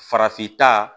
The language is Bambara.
Farafin ta